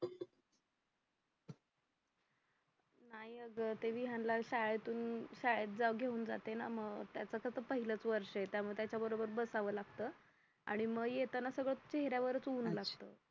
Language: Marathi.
नाही अगं विहानला शाळेतून शाळेत घेऊन जाते ना म त्याच आता पहिलंच वर्ष ये त्यामुळे त्याच्या बरोबर बसावं लागत आणि मग येताना सगळं चेहऱ्यावरचं ऊन लागत